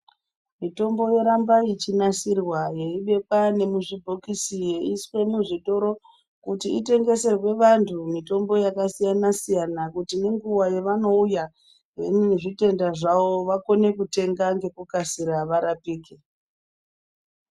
Mutombo yoramba yeinasirwa yeibekwa nemuzvibhokisi yeiswe muzvitoro kuti itengeserwe vantu mitombo yakasiyana siyana kuti nenguwa yavanouya nezvitenda zvawo vakone kuteenga ngekukasira kuti varapike.